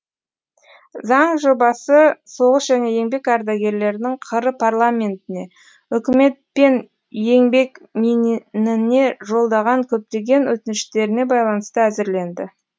заң жобасы соғыс және еңбек ардагерлерінің қр парламентіне үкімет пен еңбекминіне жолдаған көптеген өтініштеріне байланысты әзірленді